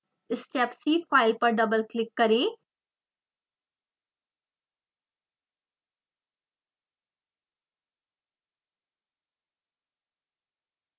stepc file पर double click करें